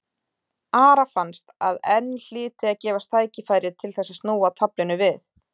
Ara fannst að enn hlyti að gefast tækifæri til þess að snúa taflinu við.